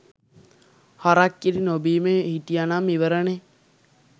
හරක් කිරි නොබීම හිටියනම් ඉවරනේ.